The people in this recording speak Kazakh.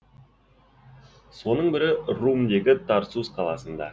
соның бірі румдегі тарсус қаласында